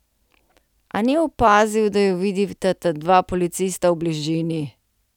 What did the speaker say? A ni opazil, da ju vidita dva policista v bližini.